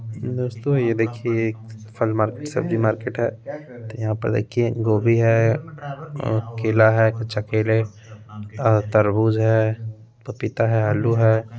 दोस्तों ये देखिए एक फल मार्केट सब्जी मार्केट है तो यहां पर देखिये गोभी है और केला है कच्चा केले और तरबूज है पपीता है आलू है।